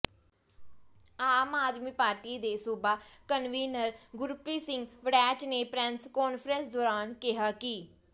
ਆਮ Aadmi party ਦੇ ਸੂਬਾ convener Gurpreet Singh Waraich ਨੇ ਪ੍ਰੈੱਸ ਕਾਨਫ਼ਰੰਸ ਦੌਰਾਨ ਕਿਹਾ ਕਿ